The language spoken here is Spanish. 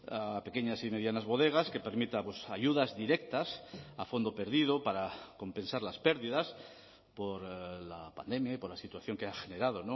a pequeñas y medianas bodegas que permita ayudas directas a fondo perdido para compensar las pérdidas por la pandemia y por la situación que ha generado